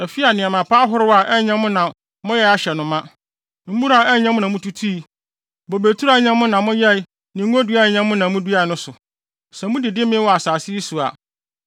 afi a nneɛma pa ahorow a ɛnyɛ mo na moyɛe ahyɛ no ma, mmura a ɛnyɛ mo na mututui, bobeturo a ɛnyɛ mo na moyɛe ne ngonnua a ɛnyɛ mo na muduae no so. Sɛ mudidi mee wɔ saa asase yi so a,